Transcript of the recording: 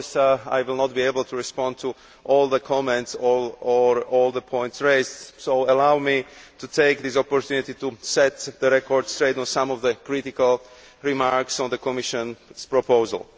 Of course I will not be able to respond to all the comments or all the points raised, so allow me to take this opportunity to set the record straight on some of the critical remarks on the Commission's proposal.